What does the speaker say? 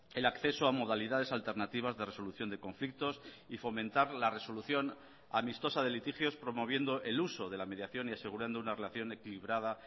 el acceso a modalidades alternativas de resolución de conflictos y fomentar la resolución amistosa de litigios promoviendo el uso de la mediación y asegurando una relación equilibrada